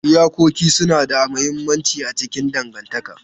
Iyakoki suna da mahimmanci a cikin dangantaka.